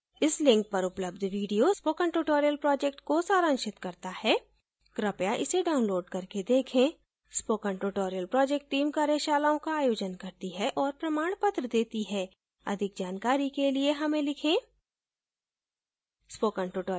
इस link पर उपलब्ध video spoken tutorial project को सारांशित करता है कृपया इसे download करके देखें spoken tutorial project team कार्यशालाओं का आयोजन करती है और प्रमाणपत्र देती है अधिक जानकारी के लिए हमें लिखें